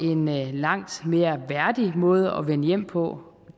en langt mere værdig måde at vende hjem på